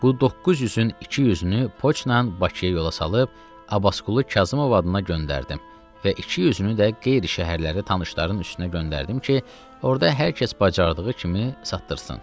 Bu 900-ün 200-ünü poçtla Bakıya yola saldıq, Abbasqulu Kazımov adına göndərdim və 200-ünü də qeyri şəhərlərə tanışların üstünə göndərdim ki, orda hər kəs bacardığı kimi satdırsın.